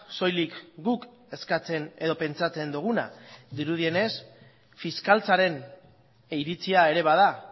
soilik guk eskatzen edo pentsatzen duguna dirudienez fiskaltzaren iritzia ere bada